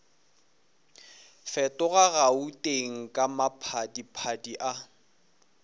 fetoga gauteng ka maphadiphadi a